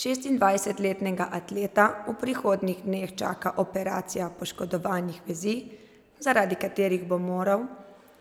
Šestindvajsetletnega atleta v prihodnjih dneh čaka operacija poškodovanih vezi, zaradi katerih bo moral